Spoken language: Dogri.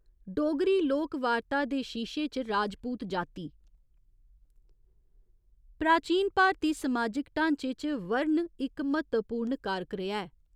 डोगरी लोक वार्ता दे शीशे च राजपूत जाति प्राचीन भारती समाजिक ढांचे च 'वर्ण' इक म्हत्तवपूर्ण कारक रेहा ऐ।